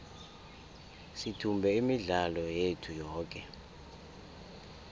sithumbe imidlalo yethu yoke